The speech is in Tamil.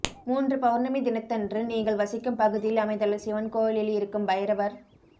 மூன்று பௌர்ணமி தினத்தன்று நீங்கள் வசிக்கும் பகுதியில் அமைந்துள்ள சிவன் கோயிலில் இருக்கும் வைரவர்